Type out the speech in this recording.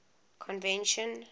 convention